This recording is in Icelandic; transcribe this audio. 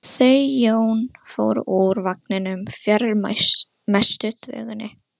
Guðmundur var allra manna hæstur en lítillega boginn í baki.